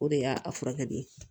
O de y'a furakɛ de ye